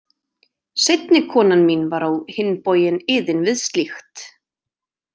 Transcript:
Seinni konan mín var á hinn bóginn iðin við slíkt.